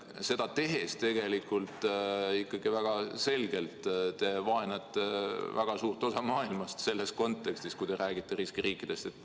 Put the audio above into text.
Seda tehes te tegelikult ikkagi väga selgelt vaenate väga suurt osa maailmast selles kontekstis, kui räägite riskiriikidest.